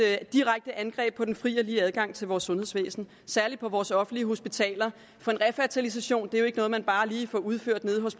direkte angreb på den frie og lige adgang til vores sundhedsvæsen særlig på vores offentlige hospitaler for refertilisation er jo ikke noget man bare lige får udført nede hos